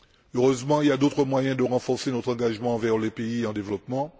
Heureusement, il y a d'autres moyens de renforcer notre engagement envers les pays en développement.